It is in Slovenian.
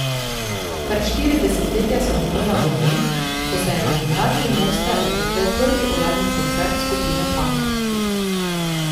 Kar štiri desetletja so minila od dne, ko se je na Gimnaziji Moste odvrtel prvi uradni koncert skupine Pankrti.